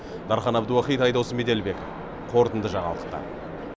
дархан әбдуахит айдос меделбеков қорытынды жаңалықтар